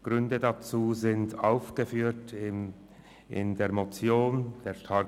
Gründe dafür wurden in der Motion aufgeführt: